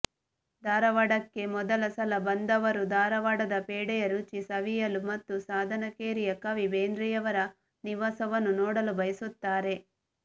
ಧಾರವಾಡಕ್ಕೆ ಮೊದಲ ಸಲ ಬಂದವರು ಧಾರವಾಡದ ಫೇಡೆಯ ರುಚಿ ಸವಿಯಲು ಮತ್ತು ಸಾಧನಕೇರಿಯ ಕವಿ ಬೇಂದ್ರೆಯವರ ನಿವಾಸವನ್ನು ನೋಡಲು ಬಯಸುತ್ತಾರೆ